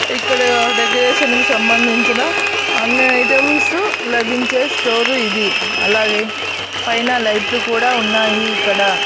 ఇక్కడ డెకరేషన్ కి సంబంధించిన అన్ని ఐటమ్స్ లభించే స్టోర్ ఇది అలాగే పైన లైట్లు కూడా ఉన్నాయి ఇక్కడ.